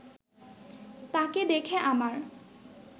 তাকে দেখে আমার